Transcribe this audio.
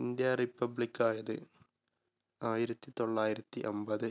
India republic യത് ആയിരത്തി തൊള്ളായിരത്തി അമ്പത്